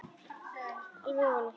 Þreifar alveg ofan í hann.